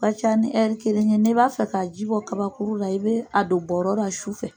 ka ca ni ɛri kelen ye n'i b'a fɛ k'a jibɔ kabakuru la i bɛ a don bɔɔrɔ la sufɛ.